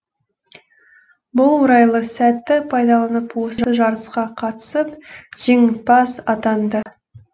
бұл орайлы сәтті пайдаланып осы жарысқа қатысып жеңімпаз атанды